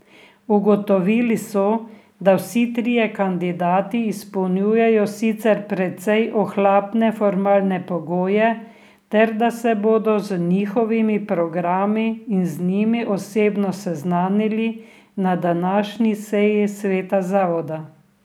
Ugotovili so, da vsi trije kandidati izpolnjujejo sicer precej ohlapne formalne pogoje ter da se bodo z njihovimi programi in z njimi osebno seznanili na današnji seji sveta zavoda.